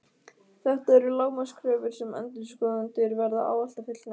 Þetta eru lágmarkskröfur sem endurskoðendur verða ávallt að fullnægja.